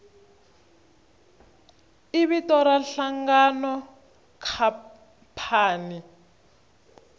i vito ra nhlangano khampani